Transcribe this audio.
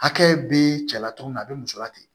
Hakɛ be cɛla cogo min na a be muso late